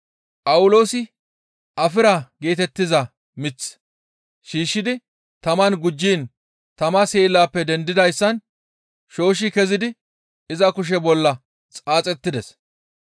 Phawuloosi afira geetettiza mith shiishshidi taman gujjiin tama seelappe dendidayssan shooshshi kezidi iza kushe bolla xaaxettides.